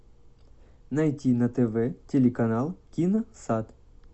найти на тв телеканал киносад